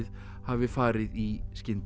hafi farið í skyndi